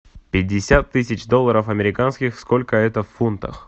пятьдесят тысяч долларов американских сколько это в фунтах